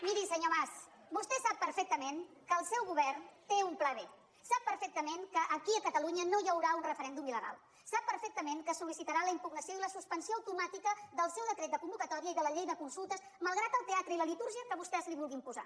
miri senyor mas vostè sap perfectament que el seu govern té un pla b sap perfectament que aquí a catalunya no hi haurà un referèndum iltament que soltomàtica del seu decret de convocatòria i de la llei de consultes malgrat el teatre i la litúrgia que vostès li vulguin posar